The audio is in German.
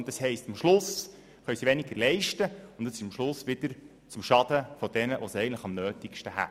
Das heisst, am Schluss können sie weniger leisten und dies letztendlich wieder zum Schaden jener, die es am Nötigsten hätten.